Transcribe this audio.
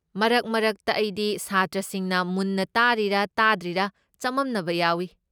ꯃꯔꯛ ꯃꯔꯛꯇ ꯑꯩꯗꯤ ꯁꯥꯇ꯭ꯔꯁꯤꯡꯅ ꯃꯨꯟꯅ ꯇꯥꯔꯤꯔꯥ ꯇꯥꯗ꯭ꯔꯤꯔꯥ ꯆꯃꯝꯅꯕ ꯌꯥꯎꯏ꯫